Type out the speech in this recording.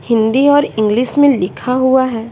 हिंदी और इंग्लिश में लिखा हुआ है।